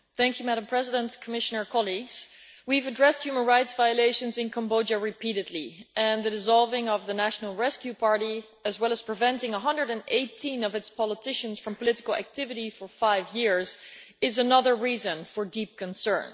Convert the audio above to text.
Madam President, Commissioner, colleagues, we have addressed human rights violations in Cambodia repeatedly and the dissolving of the National Rescue Party, as well as the barring of 118 of its politicians from political activity for five years, is another reason for deep concern.